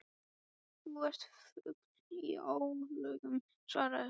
Þú ert fugl í álögum svaraði hún.